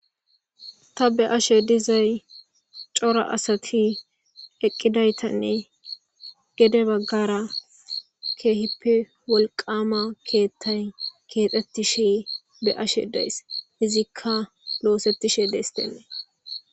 ta be ashe dizay cora asati eqqidaytanne gede baggara keehippe wolqama keethtay keexettishe be ashe days hizikka loosettishe deestenne